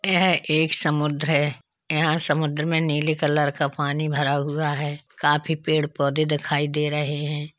यह एक समुद्र है। यहां समूद्र में नीले कलर का पानी भरा हुआ है। काफी पेड़ पौधे दिखाई दे रहे हैं।